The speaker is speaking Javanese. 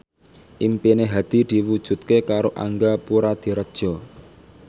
impine Hadi diwujudke karo Angga Puradiredja